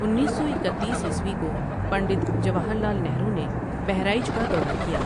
انیس سو اکتیس عیسوی کو پنڈت جواہر لعل نہرو نے بہرائچ کا دورہ کیا ۔